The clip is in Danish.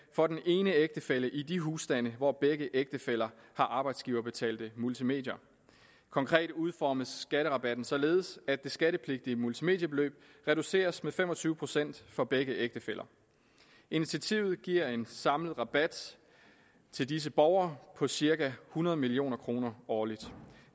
for den ene ægtefælle i de husstande hvor begge ægtefæller har arbejdsgiverbetalte multimedier konkret udformes skatterabatten således at det skattepligtige multimediebeløb reduceres med fem og tyve procent for begge ægtefæller initiativet giver en samlet rabat til disse borgere på cirka hundrede million kroner årligt